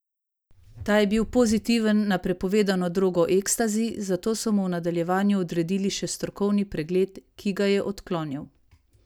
Ta je bil pozitiven na prepovedano drogo ekstazi, zato so mu v nadaljevanju odredil še strokovni pregled, ki ga je odklonil.